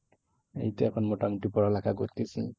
এই তো এখন মোটামুটি পড়ালেখা করতেছি।